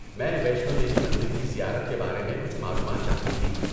میں ویشنو دیوی مندر کی زیارت کے بارے میں کچھ معلومات چاہتی تھی۔